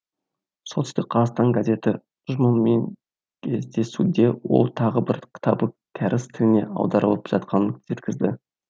солтүстік қазақстан газеті ұжымымен кездесуде ол тағы бір кітабы кәріс тіліне аударылып жатқанын жеткізді